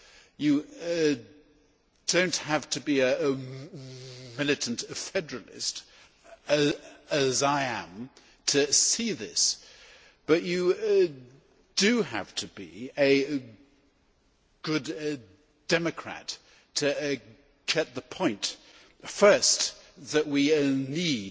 You do not have to be a militant federalist as I am to see this, but you do have to be a good democrat to get the point first, that we